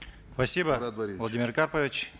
спасибо владимир карпович